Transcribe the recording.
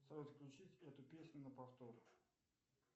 салют включить эту песню на повтор